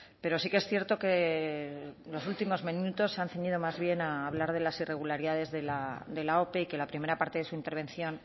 pero sí que es cierto que los últimos minutos se han ceñido más bien a hablar de las irregularidades de la ope que la primera parte de su intervención